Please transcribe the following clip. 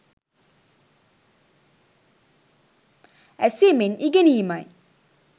ඇසීමෙන් ඉගෙනීමයි.